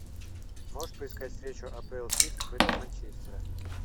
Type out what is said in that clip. можешь поискать встречу апл сити против манчестера